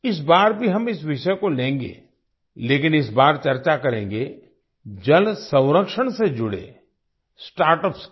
इस बार भी हम इस विषय को लेंगे लेकिन इस बार चर्चा करेंगे जल संरक्षण से जुड़े स्टार्टअप्स की